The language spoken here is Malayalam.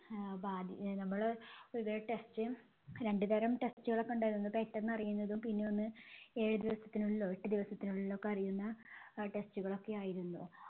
ആഹ് നമ്മള് test രണ്ട് തരം test കളൊക്കെ ഉണ്ടായിരുന്നു. പെട്ടന്ന് അറിയുന്നതും പിന്നെ ഒന്ന് ഏഴ് ദിവസത്തിനുള്ളിലോ എട്ട് ദിവസത്തിനുള്ളിലോ ഒക്കെ അറിയുന്ന അഹ് test കളൊക്കെയായിരുന്നു.